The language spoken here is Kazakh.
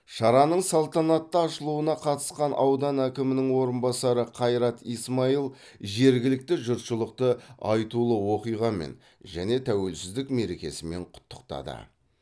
шараның салтанатты ашылуына қатысқан аудан әкімінің орынбасары қайрат исмаил жергілікті жұртшылықты айтулы оқиғамен және тәуелсіздік мерекесімен құттықтады